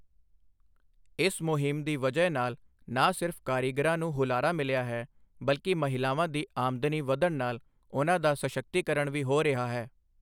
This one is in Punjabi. ਇਸ ਮੁਹਿੰਮ ਦੀ ਵਜ੍ਹਾ ਨਾਲ ਨਾ ਸਿਰਫ਼ ਕਾਰੀਗਰਾਂ ਨੂੰ ਹੁਲਾਰਾ ਮਿਲਿਆ ਹੈ, ਬਲਕਿ ਮਹਿਲਾਵਾਂ ਦੀ ਆਮਦਨੀ ਵਧਣ ਨਾਲ ਉਨ੍ਹਾਂ ਦਾ ਸਸ਼ਕਤੀਕਰਣ ਵੀ ਹੋ ਰਿਹਾ ਹੈ।